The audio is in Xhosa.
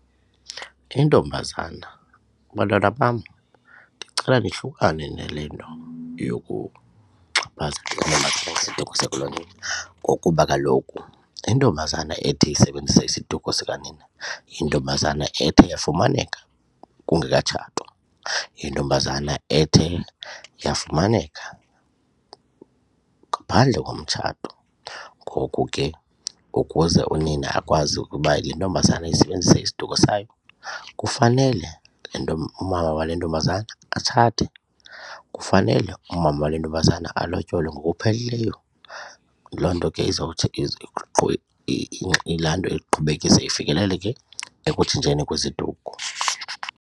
Intombazana, bantwana bam, ndicela nihlukane nale nto yokuxhaphaza isiduko sakulo nina ngokuba kaloku intombazana ethi isebenzisa isiduko sikanina yintombazana ethe yafumaneka kungekatshatwa, yintombazana ethe yafumaneka ngaphandle komtshato. Ngoku ke ukuze unina akwazi ukuba le ntombazana isebenzise isiduko sayo kufanele le nto umama wale ntombazana atshate kufanele umama wale ntombazana alotyolwe ngokupheleleyo. Loo nto ke izawuthi ilandwe iqhubekise ifikeleleke ekutshintsheni kweziduko.